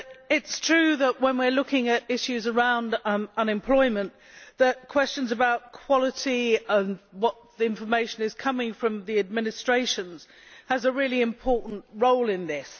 It is true that when we are looking at issues around unemployment, questions about quality and information coming from the administrations have a really important role in this.